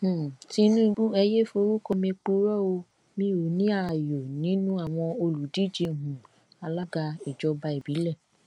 um tinúbú ẹ yéé forúkọ mi purọ o mi ò ní ààyò nínú àwọn olùdíje um alága ìjọba ìbílẹ